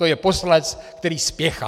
To je poslanec, který spěchá.